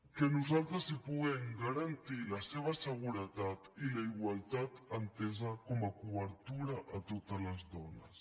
que nosaltres els puguem garantir la seva seguretat i la igualtat entesa com a cobertura a totes les dones